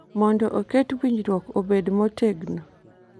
mondo oket winjruok obed motegno.